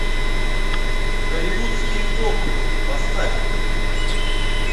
голливудские копы поставь